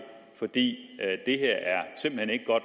for det